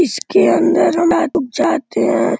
इसके अंदर हम लोग जाते हैं।